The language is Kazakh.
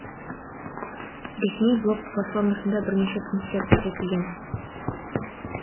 ресми блог платформасында бірнеше пунктер көрсетілген